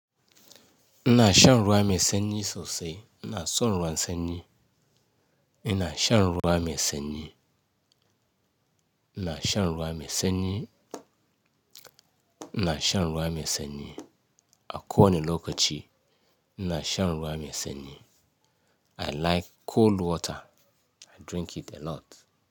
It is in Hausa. Ina shan ruwa mai sanyi sosai, ina son ruwan sanyi. Na shan ruwa mai sanyi, na shan ruwa mai sanyi, na shan ruwa mai sanyi. A kowane lokaci, ina shan ruwa mai sanyi. I like cold water, I drink it a lot.